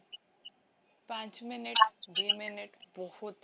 ପାଞ୍ଚ minute ଦୁଇ minute ବହୁତ